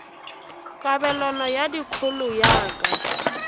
kabelano ya dikholo ya ka